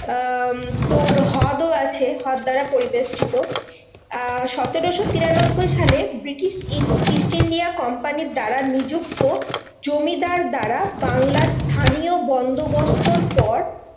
আহ তোর হ্রদও আছে হ্রদ দ্বারা পরিবেষ্টিত। আহ সতেরোশো তিরানব্বই সালে ব্রিটিশ ইস্ট ইন্ডিয়া কোম্পানির দ্বারা নিযুক্ত জমিদার দ্বারা বাংলার স্থানীয় বন্দোবস্তর পর